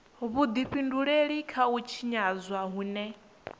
vhudifhinduleli kha u tshinyadzwa hune